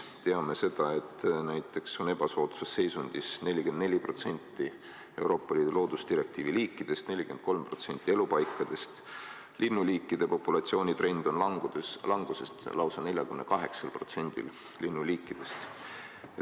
Teame seda, et näiteks on ebasoodsas seisundis 44% Euroopa Liidu loodusdirektiivi liikidest, 43% elupaikadest, linnuliikide populatsiooni trend on languses lausa 48%-l linnuliikidest.